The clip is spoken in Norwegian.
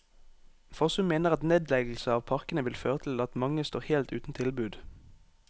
Fossum mener at nedleggelse av parkene vil føre til at mange står helt uten tilbud.